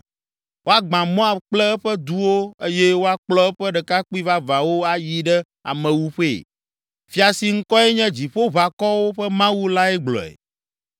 Woagbã Moab kple eƒe duwo eye woakplɔ eƒe ɖekakpui vavãwo ayi ɖe amewuƒee.” Fia si ŋkɔe nye Dziƒoʋakɔwo ƒe Mawu lae gblɔe.